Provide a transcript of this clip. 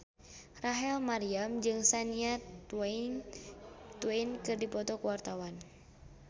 Rachel Maryam jeung Shania Twain keur dipoto ku wartawan